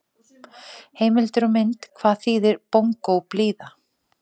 Heimildir og mynd: Hvað þíðir bongóblíða!